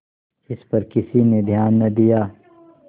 इस पर किसी ने ध्यान न दिया